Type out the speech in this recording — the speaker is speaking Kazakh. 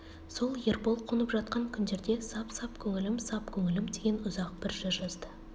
сол ербол қонып жатқан күндерде сап-сап көңілім сап көңілім деген ұзақ бір жыр жазды